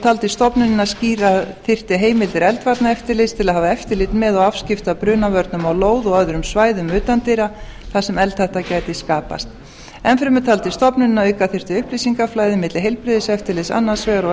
taldi stofnunin að skýra þyrfti heimildir eldvarnaeftirlits til að hafa eftirlit með og afskipti af brunavörnum á lóð og öðrum svæðum utandyra þar sem eldhætta gæti skapast enn fremur taldi stofnunin að auka þyrfti upplýsingaflæði milli heilbrigðiseftirlits annars vegar og